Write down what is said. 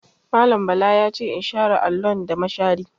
Mallam Bala ya ce in share allon da mashari.